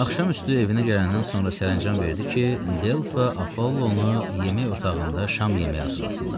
Axşamüstü evinə gələndən sonra sərəncam verdi ki, Delfa Apollonu yemək otağında şam yeməyi hazırlasınlar.